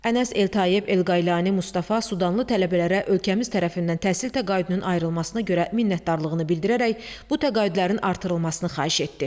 Ənəs Eltayeb Elqailani Mustafa Sudanlı tələbələrə ölkəmiz tərəfindən təhsil təqaüdünün ayrılmasına görə minnətdarlığını bildirərək bu təqaüdlərin artırılmasını xahiş etdi.